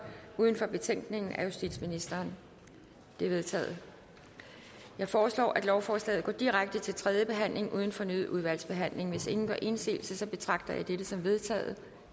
uden for betænkningen af justitsministeren de er vedtaget jeg foreslår at lovforslaget går direkte til tredje behandling uden fornyet udvalgsbehandling hvis ingen gør indsigelse betragter jeg dette som vedtaget